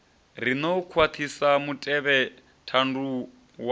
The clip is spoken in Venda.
riṋe u khwaṱhisa mutevhethandu wa